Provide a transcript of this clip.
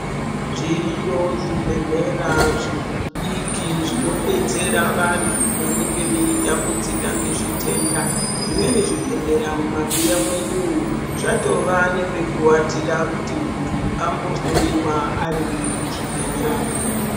Zviriyo zvibhedhlera zvidiki zvino detsera vantu vanenge vei tambudzika ngezvitenda. Zvimweni zvibhedhlera mumabuya mwedu umwu zvatova nepe kuwatira kuti muntu ambohloyiwa arimwo much ibhedhlera mwo.